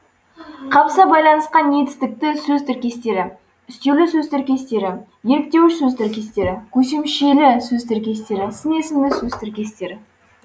қабыса байланысқан етістікті сөз тіркестері үстеулі сөз тіркестері еліктеуіш сөз тіркестері көсемшелі сөз тіркестері сын есімді сөз тіркестері